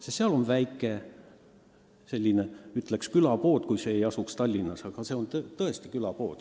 Sest seal on väike, ütleksin, külapood – kui see ei asuks Tallinnas, siis öeldaks selle kohta tõesti külapood.